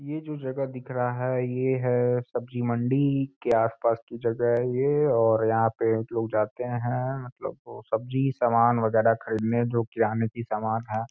ये जो जगह दिख रहा है। ये है सब्जी मंडी के आस-पास की जगह है ये और यहाँ पे लोग जाते हैन मतलब सब्जी सामान वगैरा खरीदने जो कि अन्न के सामान है।